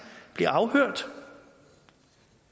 blev afhørt